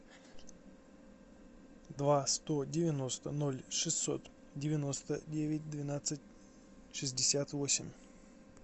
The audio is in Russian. два сто девяносто ноль шестьсот девяносто девять двенадцать шестьдесят восемь